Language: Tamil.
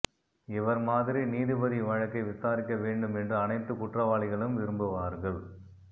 இவர் மாதிரி நீதிபதி வழக்கை விசாரிக்க வேண்டும் என்று அணைத்து குற்றவாளிகளும் விரும்புவார்கள்